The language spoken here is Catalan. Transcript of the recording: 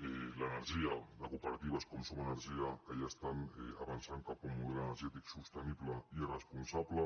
l’energia de cooperatives com som energia que ja estan avançant cap a un model energètic sostenible i responsable